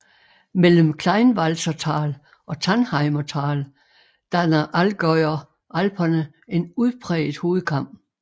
Mellem Kleinwalsertal og Tannheimer Tal danner Allgäuer Alperne en udpræget hovedkam